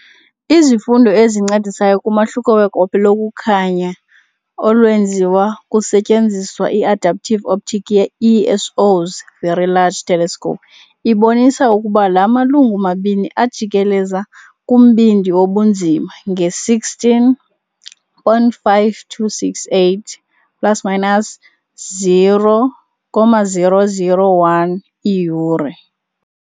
Izifundo ezincedisayo kumahluko wegophe lokukhanya olwenziwa kusetyenziswa i-adaptive optics ye -ESO 's Very Large Telescope ibonisa ukuba la malungu mabini ajikeleza kumbindi wobunzima nge-16.5268 ± 0.001 iiyure.